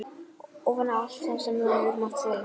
Ofan á allt annað sem þú hefur mátt þola?